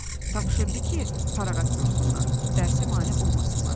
Tapşırdı ki, fərağat dursunlar, dərsə mane olmasınlar.